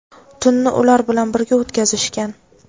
tunni ular bilan birga o‘tkazishgan.